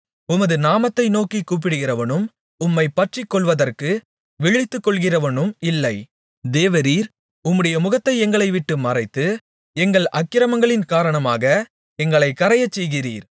உமது நாமத்தை நோக்கிக் கூப்பிடுகிறவனும் உம்மைப் பற்றிக்கொள்வதற்கு விழித்துக்கொள்ளுகிறவனும் இல்லை தேவரீர் உம்முடைய முகத்தை எங்களை விட்டு மறைத்து எங்கள் அக்கிரமங்களின்காரணமாக எங்களைக் கறையச்செய்கிறீர்